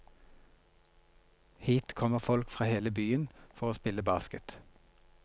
Hit kommer folk fra hele byen for å spille basket.